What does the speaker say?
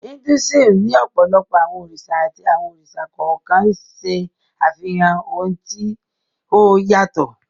Hinduism ní ọ̀pọ̀lọpọ̀ àwọn òrìṣà àti àwọn òrìṣà kọ̀ọ̀kan ń ṣẹ́ àfihàn àwọn ohun tí ó yàtọ̀